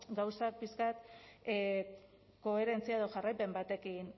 gauzak pixka bat koherentzia edo jarraipen batekin